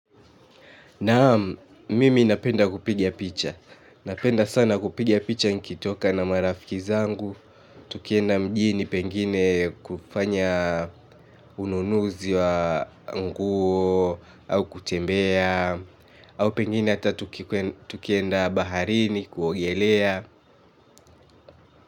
Naam, mimi napenda kupiga picha. Napenda sana kupiga picha nikitoka na marafiki zangu, tukienda mjini pengine kufanya ununuzi wa nguo au kutembea, au pengine hata tukienda baharini kuogelea.